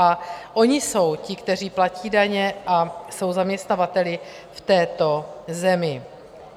A oni jsou ti, kteří platí daně a jsou zaměstnavateli v této zemi.